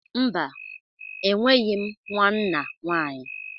Mba, enweghị m nwa nna nwanyị.